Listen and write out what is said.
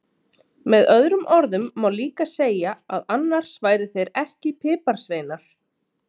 Með öðrum orðum má líka segja að annars væru þeir ekki piparsveinar!